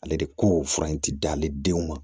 Ale de ko fura in ti d'ale denw ma